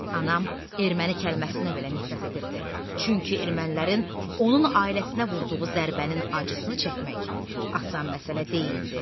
Anam erməni kəlməsinə belə nifrət edirdi, çünki ermənilərin onun ailəsinə vurduğu zərbənin acısını çəkmək asan məsələ deyildi.